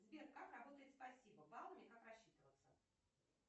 сбер как работает спасибо баллами как рассчитываться